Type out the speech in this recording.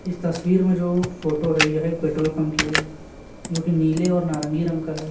इस तस्वीर में जो फोटो है यह एक पेट्रोल पंप की है जो की नीले और नारंगी रंग का है।